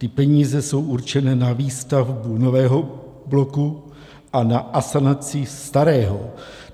Ty peníze jsou určené na výstavbu nového bloku a na asanaci starého.